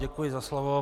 Děkuji za slovo.